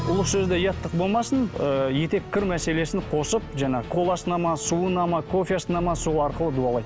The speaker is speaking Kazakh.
ұлы сөзде ұяттық болмасын ыыы етеккір мәселесін қосып жаңағы коласына ма суына ма кофесіне ме сол арқылы дуалайды